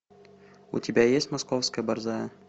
у тебя есть московская борзая